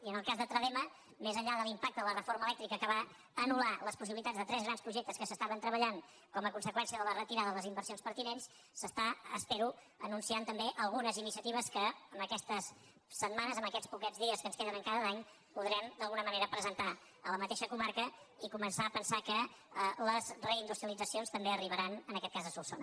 i en el cas de tradema més enllà de l’impacte de la reforma elèctrica que va anul·lar les possibilitats de tres grans projectes que s’estaven treballant com a con·seqüència de la retirada de les inversions pertinents s’estan espero anunciant també algunes iniciatives que aquestes setmanes aquests poquets dies que ens queden encara d’any podrem d’alguna manera presentar a la mateixa comarca i començar a pensar que les reindus·trialitzacions també arribaran en aquest cas a solsona